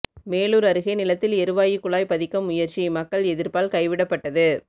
மேலூர் அருகே நிலத்தில் எரிவாயு குழாய் பதிக்க முயற்சி மக்கள் எதிர்ப்பால் கைவிடப்பட்டது